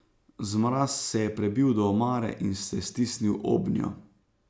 Zmraz se je prebil do omare in se stisnil obnjo.